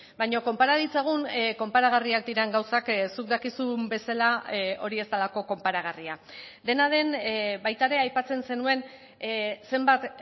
baina konpara ditzagun konparagarriak diren gauzak zuk dakizun bezala hori ez delako konparagarria dena den baita ere aipatzen zenuen zenbat